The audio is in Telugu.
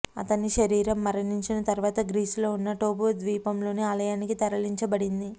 అతని శరీరం మరణించిన తరువాత గ్రీసులో ఉన్న టోఫు ద్వీపంలోని ఆలయానికి తరలించబడింది